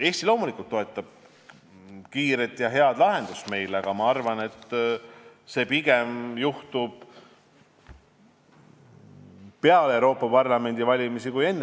Eesti loomulikult toetab kiiret ja head lahendust, aga ma arvan, et see juhtub pigem peale Euroopa Parlamendi valimisi, mitte enne.